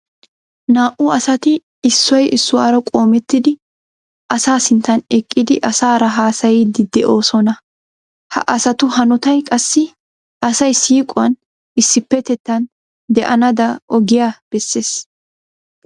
Naa"u asati issoy issuwara qoomettidi asaa sinttan eqqidi asaara haasayiiddi de'oosona. Ha asatu hanotay qassi asay siiquwan issippetettan de'anaada ogiya bessees.